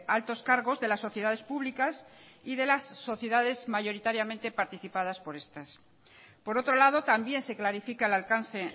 altos cargos de las sociedades públicas y de las sociedades mayoritariamente participadas por estas por otro lado también se clarifica el alcance